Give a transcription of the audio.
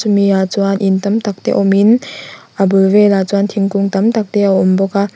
ah chuan in tam tak te awm in a bul velah chuan thingkung tam tak te awm bawk a.